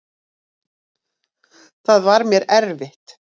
Það var mér erfitt.